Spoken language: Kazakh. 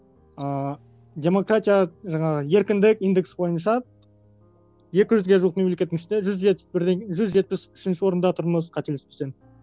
ыыы демократия жаңағы еркіндік индексі бойынша екі жүзге жуық мемлекеттің ішінде жүз жетпіс жүз жетпіс үшінші орында тұрмыз қателеспесем